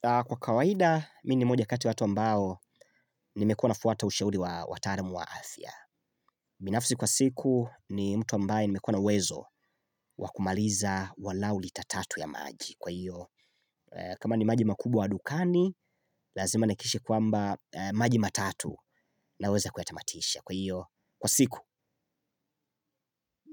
Kwa kawaida, mi ni moja kati ya watu ambao, nimekuwa nafuata ushauri wa wataaramu wa afya. Binafsi kwa siku, ni mtu ambaye nimekuwa na wezo wa kumaliza walau lita tatu ya maji. Kwa hiyo, kama ni maji makubwa dukani, lazima nihakikishe kwamba maji matatu naweza kuyatamatisha. Kwa hiyo, kwa siku,